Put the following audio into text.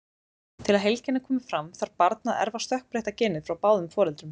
Til að heilkennið komi fram þarf barn að erfa stökkbreytta genið frá báðum foreldrum.